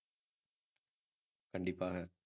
கண்டிப்பாக